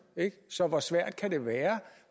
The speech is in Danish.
så hvor svært kan det være